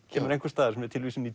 kemur einhvers staðar sem er tilvísun í